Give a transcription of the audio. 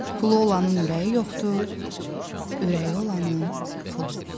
Pulu olanın ürəyi yoxdur, ürəyi olanın pulu.